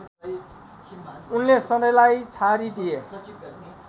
उनले सधैँलाई छाडिदिए